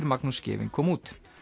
Magnús Scheving kom út